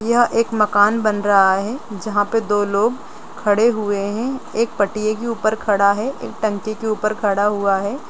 यह एक मकान बन रहा है जहाँ पे दो लोग खड़े हुए हैं एक पटिए के ऊपर खड़ा है एक टंकी के ऊपर खड़ा हुआ है।